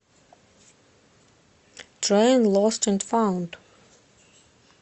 трэйн лост энд фаунд